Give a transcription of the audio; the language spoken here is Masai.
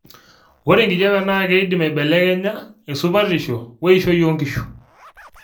oe enkijape naa keidim aibelekenya esupatisho weishoi oo nkishu